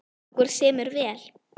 Okkur semur vel